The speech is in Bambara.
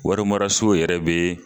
Warimaraso yɛrɛ be yen